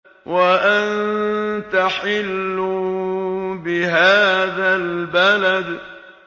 وَأَنتَ حِلٌّ بِهَٰذَا الْبَلَدِ